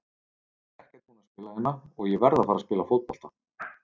Ég er ekkert búinn að spila hérna og ég verð að fara að spila fótbolta.